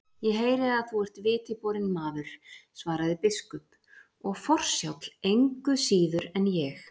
Ég heyri að þú ert viti borinn maður, svaraði biskup,-og forsjáll, engu síður en ég.